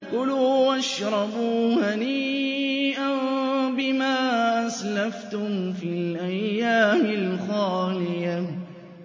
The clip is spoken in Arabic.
كُلُوا وَاشْرَبُوا هَنِيئًا بِمَا أَسْلَفْتُمْ فِي الْأَيَّامِ الْخَالِيَةِ